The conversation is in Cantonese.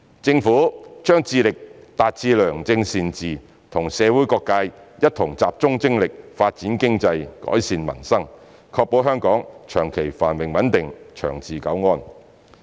政府將致力達致良政善治，與社會各界一同集中精力發展經濟、改善民生，確保香港長期繁榮穩定、長治久安。